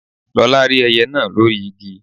Lọlá rí ẹyẹ náà lórí igi